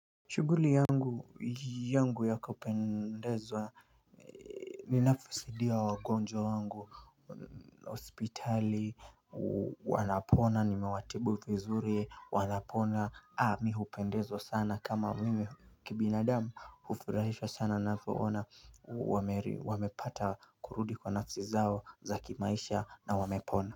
Shuguli yangu yangu yaku pendezwa ninafisidia wagonjwa wangu hospitali wanapona nimewatibu vizuri wanapona mi hupendezwa sana kama mimi kibinadamu ufurahishwa sana napo ona wamepata kurudi kwa nafsi zao za kimaisha na wamepona.